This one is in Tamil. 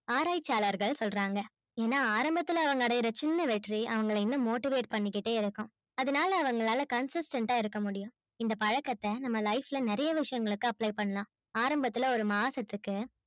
ஆராயட்சியாளர்கள் சொல்றாங்க ஏனா ஆரம்பத்துல அடையுற சின்ன வெற்றி அவங்கள இன்னும் motivate பண்ணிகிட்டே இருக்காம் அதுனால அவங்களால consistent ஆ இருக்க முடியும் இந்த பழக்கத்த நம்ம life ல நெறைய விஷயங்களுக்கு apply பன்னலாம் ஆரம்பத்துல ஒரு மாசத்துக்கு